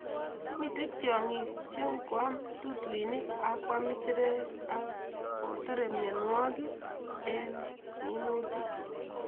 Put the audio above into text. Mite tiong'ik che ngoam tutuinik ak kwam isirek kotore mianwogik en minutik